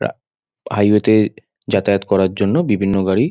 ওরা হাইওয়ে -তে যাতায়াত করার জন্য বিভিন্ন গাড়ি--